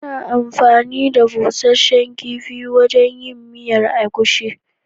Ana anfani da busasshen kifi wajen yin miyar agushi.